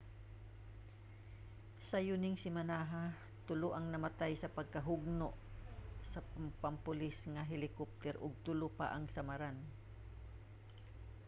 sayo ning semanaha tulo ang namatay sa pagkahugno sa pampulis nga helikopter ug tulo pa ang samaran